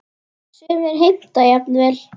Sumir heimta jafnvel